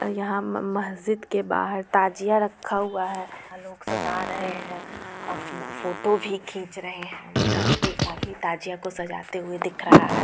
यहाँ मह-म मस्जिद के बहार ताजिया रखा हुआ है यहाँ लोग सदा रहे है और फोटो भी खींच रहे है यहाँ पे एक आदमी ताजिया को सजाते हुए दिख रहा है।